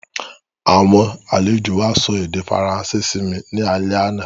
Àwọn àlejò wa sọ èdè Faransé simi ni alẹ́ àná